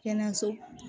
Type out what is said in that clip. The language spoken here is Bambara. Kɛnɛyaso